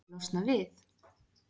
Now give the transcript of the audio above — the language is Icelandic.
Viltu losna við-?